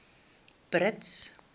brits